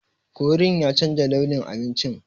Korin ya chanza launin abincin.